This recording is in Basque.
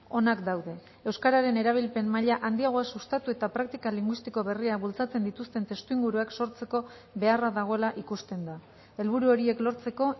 onak daude euskararen erabilpen maila handiagoa sustatu eta praktika linguistiko berriak bultzatzen dituzten testuinguruak sortzeko beharra dagoela ikusten da helburu horiek lortzeko